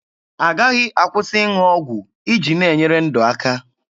Agaghị akwụsị ịṅụ ọgwụ iji na-enyere ndụ aka.